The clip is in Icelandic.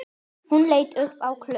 Hún leit upp á klukk